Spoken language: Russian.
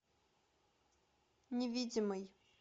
невидимый